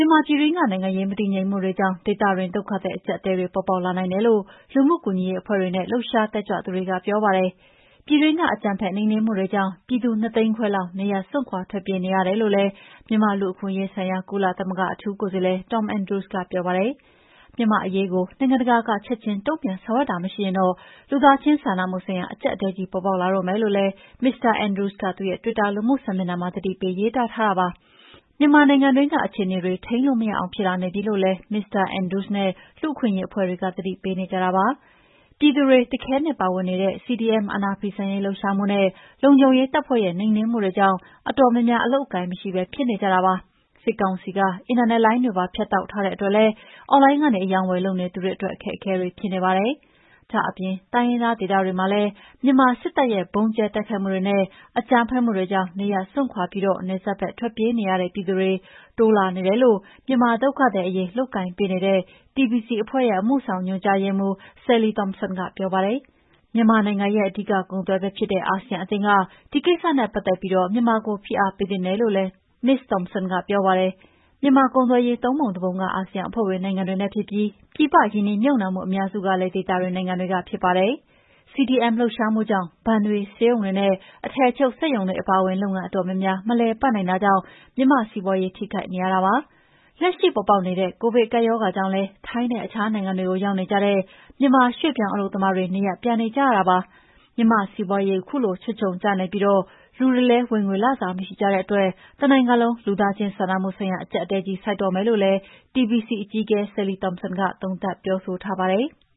မာပြည်တွင်းက နိုင်ငံရေးမတည်ငြိမ်မှုတွေကြောင့် ဒေသတွင်း ဒုက္ခသည်အကြပ်အတည်းတွေ ပေါ်ပေါက်လာနိုင်တယ်လို့ လူမှုကူညီရေးအဖွဲ့တွေနဲ့ လှုပ်ရှားတက်ကြွသူတွေကပြောပါတယ်။ ပြည်တွင်းက အကြမ်းဖက်နှိမ်နှင်းမှုတွေကြောင့် ပြည်သူ၂ သိန်းခွဲလောက် နေရပ်စွန့်ခွါထွက်ပြေးနေရတယ်လို့လည်း မြန်မာ့လူ့အခွင့်အရေးဆိုင်ရာ ကုလသမဂ္ဂအထူးကိုယ်စာလှယ် Tom Andrews ကပြောပါတယ်။ မြန်မာ့အရေးကို နိုင်ငံတကာက ချက်ချင်းပါဝင်ဆောင်ရွက်တာမရှိရင် လူသားချင်းစာနာမှုဆိုင်ရာ အကြပ်အတည်းကြီးပေါ်ပေါက်လာတော့မယ့်လိ့ု Tom Andrews ကသူ့ရဲ့တွစ်တာလူမှုစာမျက်နှာမှာ သတိပေးရေးသားထားပါတယ်။ မြန်မာနိုင်ငံတွင်းက အခြေအနေတွေ ထိန်းလို့မရအောင်ဖြစ်လာနေပြီလို့လည်း မစ္စတာ Andrews နဲ့လူ့အခွင့်အရေးအဖွဲ့တွေက သတိပေးနေကြတာပါ။ ပြည်သူတွေ တခဲနက်ပါဝင်နေတဲ့ CDM အာဏာဖီဆန်ရေးလှုပ်ရှားမှုနဲ့ လုံခြုံရေးတပ်ဖွဲ့ရဲ့နှိမ်နှင်းမှုတွေကြောင့် အတော်များများအလုပ်အကိုင်မရှိပဲဖြစ်နေကြပါတယ်။ စစ်ကောင်စီက အင်တာနက်လိုင်းတွေပါဖြတ်တောက်ထားတဲ့အတွက်လည်း အွန်လိုင်းကနေ အရောင်းအဝယ်လုပ်နေသူအတွက် အခက်အခဲတွေဖြစ်နေပါတယ်။ ဒါ့အပြင်တိုင်းရင်းသားဒေသတွေမှာ မြန်မာစစ်တပ်ရဲ့ဗုံးကြဲတိုက်ခိုက်မှုတွေနဲ့ အကြမ်းဖက်မှုတွေကြောင့်နေရပ်စွန့်ခါွပြီး နယ်စပ်ဖက်ထွက်ပြေးနေရတဲ့ ပြည်သူတွေ တိုးလာနေတယ်လို့ မြန်မာဒုက္ခသည်အရေးလုပ်ကိုင်ပေးနေတဲ့TBC အဖွဲ့ အမှုဆောင်ညွှန်ကြားရေးမှုး Sally Thompson ကပြောပါတယ်။ မြန်မာရဲ့အဓိကကုန်သွယ်ဖက်ဖြစ်တဲ့ အာဆီယံအသင်းက ဒီကိစ္စနဲ့ပတ်သက်ပြီး မြန်မာကိုဖိအားပေးသင့်တယ်လို့လည်း Sally Thompson ကပြောပါတယ်။ မြန်မာ့ကုန်သွယ်ရေး ၃ ပုံ၁ ပုံက အာဆီယံအဖွဲ့ဝင်နိုင်ငံတွေနဲ့ဖြစ်ပြီး ပြည်ပရင်းနှီးမြှပ်နှံမှုအများစုက ဒေသတွင်းနိုင်ငံတွေကဖြစ်ပါတယ်။ CDM လှုပ်ရှားမှုကြောင့် ဘဏ်တွေ၊ ဆေးရုံတွေနဲ့ အထည်ချုပ်စက်ရုံတွေအပါအဝင် လုပ်ငန်းအတော်များများမလည်ပတ်နိုင်တာကြောင့် မြန်မာစီးပွါးရေးထိခိုက်နေတာပါ။ လက်ရှိပေါ်ပေါက်နေတဲ့ကိုဗစ်ကပ်ရောဂါကြောင့်လည်း ထိုင်းနဲ့အခြားနိုင်ငံတွေကိုရောက်နေကြတဲ့ မြန်မာရွှေ့ပြောင်းအလုပ်သမားတွေနေရပ်ပြန်ကြရတာပါ။ မြန်မာ့စီးပွါးရေ ခုလို ခြွတ်ချုံကျနေပြီး လူတွေလည်း ဝင်ငွေလစာမရှိကြတဲ့အတွက် တနိုင်ငံလုံး လူသားချင်စားနာမှုဆိုင်ရာအကြပ်အတည်းကြီးဆိုက်တော့မယ်လို့လည်း TBC အကြီးအကဲ Sally Thompson က သုံးသပ်ပြောဆိုထားပါတယ်။